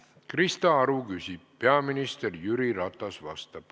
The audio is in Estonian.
Krista Aru küsib, peaminister Jüri Ratas vastab.